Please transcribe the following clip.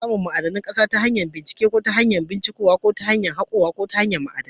Ana samun albarkatun ƙasa ta hanyar ƙasa ta hanyar hako ma'adinai ko ta hanyar bincike.